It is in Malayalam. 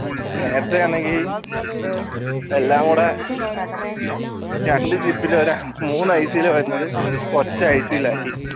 നേരത്തെ ആണെങ്കി എല്ലാം കൂടെ രണ്ട് വരുന്നത് മൂന്ന് IC ൽ വരുന്നത് ഒറ്റ IC ലാക്കി